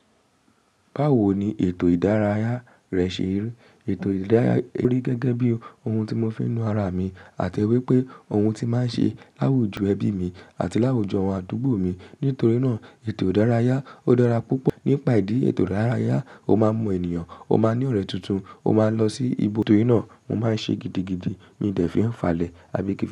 Báwo ni ètò ìdárayá rẹ ṣe ń rìn? Ètò ìdárayá rí gẹ́gẹ́ bí ohun tí mo fi ń nu ara mi àti wípé ohun tí máa ṣe láwòjú ẹbí mi àti láwòjú àwọn àdúgbò mi. Nítorí náà, ètò ìdárayá ó dára púpọ̀. Nípaìdíí ètò ìdárayá, o má mọ ènìyàn, o má ní ọ̀rẹ́ tuntun, o má lọ sí ibo. Nítorí náà, mo máa ṣe gidigidi mi dẹ̀ fi ń falẹ̀ àbí kí?